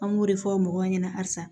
An b'o de fɔ mɔgɔw ɲɛna halisa